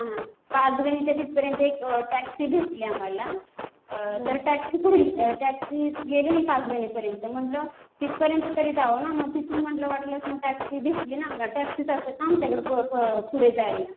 हा हा. पाचगणीच्या तिथपर्यंत एक टॅक्सी भेटली आम्हाला. तर टॅक्सी गेलेली पाचगणीपर्यंत. म्हणलं तिथपर्यंत तरी जावं ना. मग तिथून म्हणलं वाटलंच टॅक्सी भेटी ना. टॅक्सी जातात ना आमच्याकडं पुढे जायला.